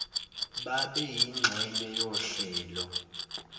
babe yingxenye yohlelo